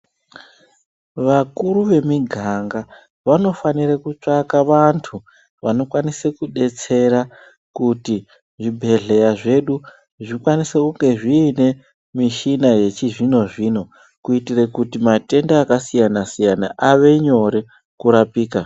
Vakuru vemiganga vanofanire kutsvake vantu vanokwanisa kudetsera kuti zvibhedhleya zvedu zvikwanise kunge zviine michina yechizvino zvino kuitira kuti matenda akasiyana siyana ave nyore kurapika.